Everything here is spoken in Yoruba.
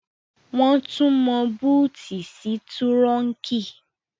Wọ́n tún mọ búùtì sí túrọ́unkì